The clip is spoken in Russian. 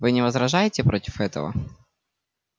вы не возражаете против этого